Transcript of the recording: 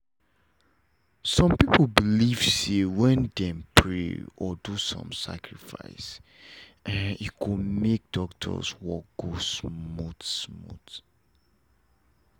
some people believe say when dem pray or do some sacrifice e go make doctors work go smooth smooth